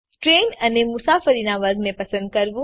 train અને મુસાફરીનાં વર્ગને પસંદ કરવું